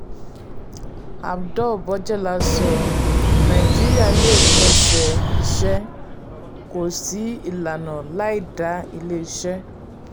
abdul-bojela sọ: nàìjíríà lè pèsè iṣẹ́; kò sí ìlànà láì dá ilé iṣẹ́.